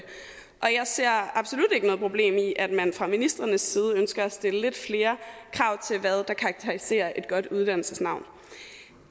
og jeg ser absolut ikke noget problem i at man fra ministrenes side ønsker at stille lidt flere krav til hvad der karakteriserer et godt uddannelsesnavn